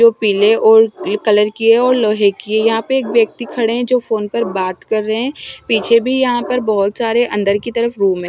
जो पीले और कलर की है और लोहे की है यहाँ पे एक व्यक्ति खड़े हैं जो फ़ोन पर बात कर रहे हैं पीछे भी यहाँ पर बहुत सारे अन्दर की तरफ रूम हैं।